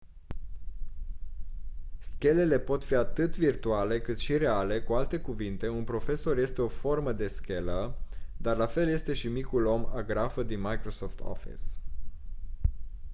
schelele pot fi atât virtuale cât și reale cu alte cuvinte un profesor este o formă de schelă dar la fel este și micul om agrafă din microsoft office